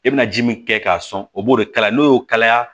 E bɛna ji min kɛ k'a sɔn o b'o de kala n'o y'o kalaya